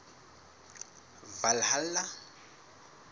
valhalla